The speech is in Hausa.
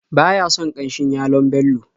Ba ya son ƙanshin yalon Bello.